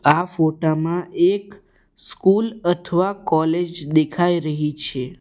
આ ફોટા માં એક સ્કૂલ અથવા કોલેજ દેખાઈ રહી છે.